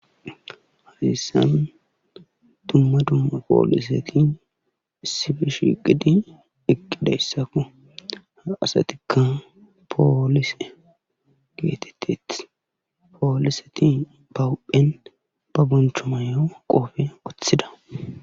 Hayssan dumma dumma poliseti issippe shiiqidi eqqidayssako ha asatikka poolise geetetetees.poliseti ba huuphen ba boncho mayo qoophiya wothida.